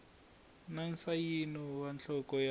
na nsayino wa nhloko ya